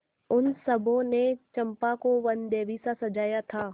उन सबों ने चंपा को वनदेवीसा सजाया था